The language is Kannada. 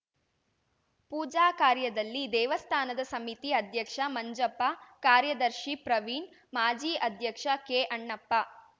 ಪೂಜಾ ಕಾರ್ಯದಲ್ಲಿ ದೇವಸ್ಥಾನದ ಸಮಿತಿ ಅಧ್ಯಕ್ಷ ಮಂಜಪ್ಪ ಕಾರ್ಯದರ್ಶಿ ಪ್ರವೀಣ್‌ ಮಾಜಿ ಅಧ್ಯಕ್ಷ ಕೆಅಣ್ಣಪ್ಪ